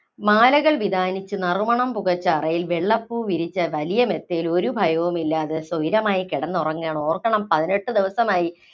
മാലകള്‍ വിതാനിച്ച്, നറുമണം പുകച്ച അറയില്‍ വെള്ളപ്പൂ വിരിച്ച വലിയ മെത്തയില്‍ ഒരു ഭയവുമില്ലാതെ സ്വൈര്യമായി കിടന്നുറങ്ങുകയാണ്. ഓര്‍ക്കണം പതിനെട്ട് ദിവസമായി.